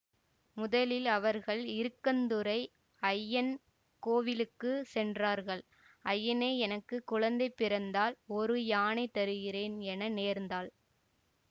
முதலில் அவர்கள் இருக்கந்துறை அய்யன் கோவிலுக்கு சென்றார்கள் அய்யனே எனக்கு குழந்தை பிறந்தால் ஒரு யானை தருகிறேன் என நேர்ந்தாள்